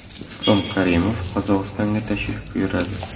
Islom Karimov Qozog‘istonga tashrif buyuradi.